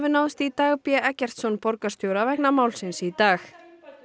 náðist í Dag b Eggertsson borgarstjóra vegna málsins í dag